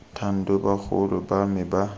thando bagolo ba me ba